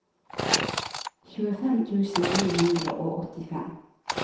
tjuefem tusen ni hundre og åttifem